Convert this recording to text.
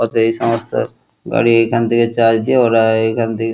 অতএব এই সমস্ত গাড়ি এখান দিয়ে চার্জ দিয়ে ওরা এইখান দিয়ে।